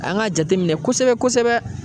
An ka jateminɛ kosɛbɛ kosɛbɛ